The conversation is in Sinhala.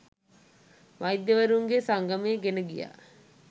වෛද්‍යවරුන්ගේ සංගමය ගෙන ගියා